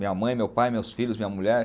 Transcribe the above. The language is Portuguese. Minha mãe, meu pai, meus filhos, minha mulher.